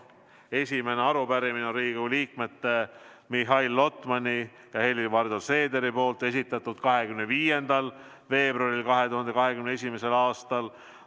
Esimese arupärimise esitasid Riigikogu liikmed Mihhail Lotman ja Helir-Valdor Seeder 25. veebruaril 2021. aastal.